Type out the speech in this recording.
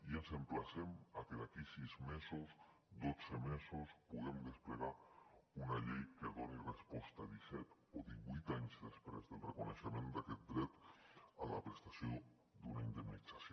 i els emplacem a que d’aquí sis mesos dotze mesos puguem desplegar una llei que hi doni resposta disset o divuit anys després del reconeixement d’aquest dret a la prestació d’una indemnització